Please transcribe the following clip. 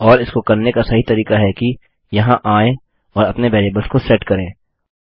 और इसको करने का सही तरीका है कि यहाँ आएँ और अपने वेरिएबल्स को सेट करें